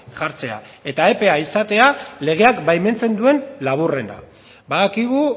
jartzea eta epea izatea legeak baimentzen duen laburrena badakigu